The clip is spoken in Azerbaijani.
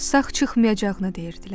Sağ çıxmayacağına deyirdilər.